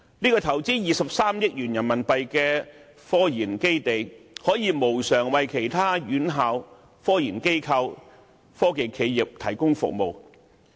這個投資23億元人民幣的科研基地，可以無償為其他院校、科研機構、科技企業提供服務。